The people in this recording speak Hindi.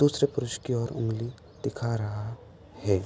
दूसरे पुरुष की ओर उंगली दिखा रहा है।